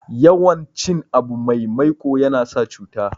yawan cin abu mai maiko yana sa cuta